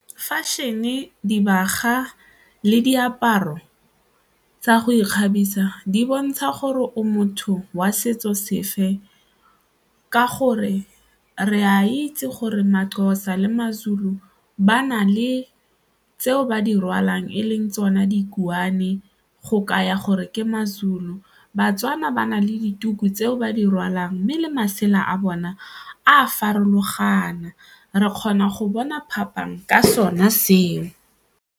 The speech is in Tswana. Fashion-e, dibaga le diaparo tsa go ikgabisa di bontsha gore o motho wa setso sefe ka gore re a itse gore ma-Xhosa le ma-Zulu ba na le tseo ba di rwalang e leng tsona dikuane go kaya gore ke ma-Zulu, ba-Tswana ba na le dituku tseo ba di rwalang mme le masela a bona a farologana, re kgona go bona phapang ka sona seo.